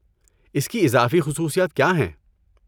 اس کی اضافی خصوصیات کیا ہیں؟